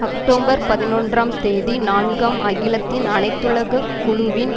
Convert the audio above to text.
October பதினொன்றாம் தேதி நான்காம் அகிலத்தின் அனைத்துலக் குழுவின்